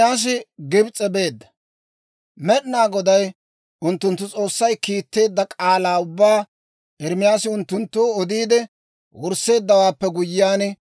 Med'inaa Goday unttunttu S'oossay kiitteedda k'aalaa ubbaa Ermaasi unttunttoo odiide wursseeddawaappe guyyiyaan,